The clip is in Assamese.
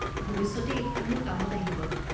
ভৱিষ্যতে এইখন মোৰ কামত আহিব।